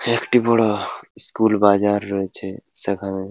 একটি বড় স্কুল বাজার রয়েছে সেখানে--